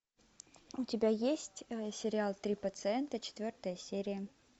у тебя есть сериал три пациента четвертая серия